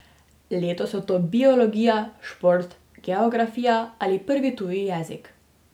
Letos so to biologija, šport, geografija ali prvi tuj jezik.